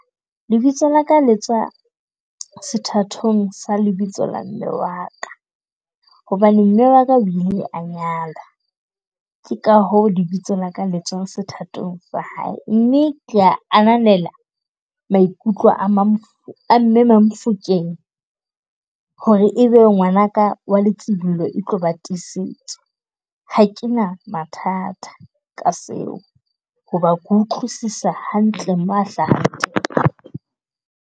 Lebitso la ka le tswa sethatong sa lebitso la mme wa ka hobane mme wa ka o ile a nyalwa. Ke ka hoo lebitso la ka le tswang sethatong sa hae. Mme ke ananela maikutlo a mme Mamofokeng hore e be ngwanaka wa letsibolo e tloba Tiisetso. Ha ke na mathata ka seo hoba ke utlwisisa hantle mo a hlahang teng.